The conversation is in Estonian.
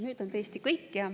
Nüüd on tõesti kõik.